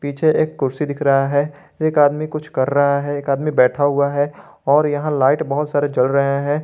पीछे एक कुर्सी दिख रहा है एक आदमी कुछ कर रहा है एक आदमी बैठा हुआ है और यहां लाइट बहोत सारे जल रहे हैं।